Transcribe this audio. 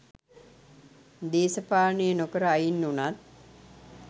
දේශපාලනේ නොකර අයින් වුනත්